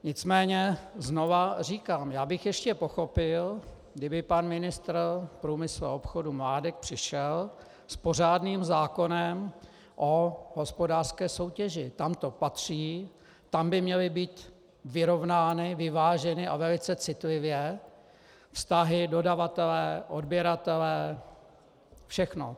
Nicméně znovu říkám - já bych ještě pochopil, kdyby pan ministr průmyslu a obchodu Mládek přišel s pořádným zákonem o hospodářské soutěži, tam to patří, tam by měly být vyrovnány, vyváženy, a velice citlivě, vztahy dodavatele, odběratele, všechno.